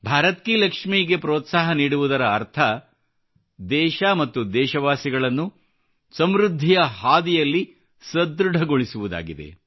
ಭಾರತ್ ಕಿ ಲಕ್ಷ್ಮಿ ಗೆ ಪ್ರೋತ್ಸಾಹ ನೀಡುವುದರ ಅರ್ಥ ದೇಶ ಮತ್ತು ದೇಶವಾಸಿಗಳನ್ನು ಸಮೃದ್ಧಿಯ ಹಾದಿಯಲ್ಲಿ ಸದೃಢಗೊಳಿಸುವುದಾಗಿದೆ